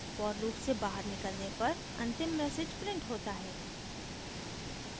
for loop से बाहर निकलने पर अंतिम message printed होता है